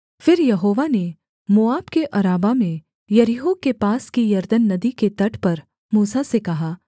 फिर यहोवा ने मोआब के अराबा में यरीहो के पास की यरदन नदी के तट पर मूसा से कहा